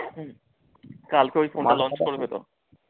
কালকে